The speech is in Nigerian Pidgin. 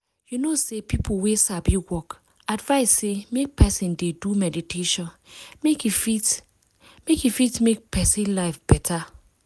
you know say people wey sabi work advice say make person dey do meditation make e fit make e fit make person life better.